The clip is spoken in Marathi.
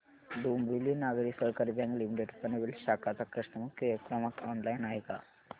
डोंबिवली नागरी सहकारी बँक लिमिटेड पनवेल शाखा चा कस्टमर केअर क्रमांक ऑनलाइन आहे का